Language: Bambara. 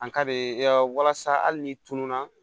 An ka bɛ yaw walasa hali ni tununa